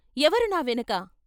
ఎవరు నా వెనక?